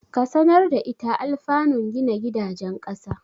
Ka sanar da ita anlfanun gina gidajen ƙasa.